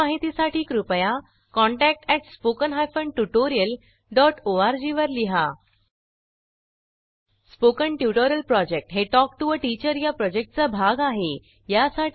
अधिक माहितीसाठी कृपया contact at spoken hyphen tutorial dot O R G वर लिहा स्पोकन ट्युटोरियल प्रॉजेक्ट हे टॉक टू टीचर या प्रॉजेक्टचा भाग आहे